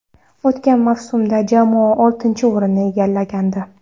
O‘tgan mavsumda jamoa oltinchi o‘rinni egallagandi.